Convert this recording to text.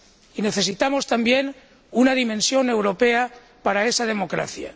Y necesitamos también una dimensión europea para esa democracia.